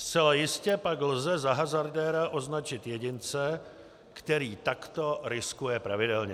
Zcela jistě pak lze za hazardéra označit jedince, který takto riskuje pravidelně.